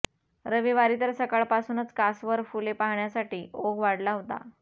रविवारी तर सकाळपासूनच कासवर फुले पाहण्यासाठी ओघ वाढला होता